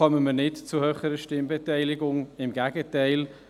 So kommen wir nicht zu höheren Stimmbeteiligungen; im Gegenteil.